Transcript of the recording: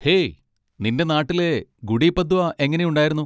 Hey, നിൻ്റെ നാട്ടിലെ ഗുഡി പദ്വ എങ്ങനെണ്ടായിരുന്നു?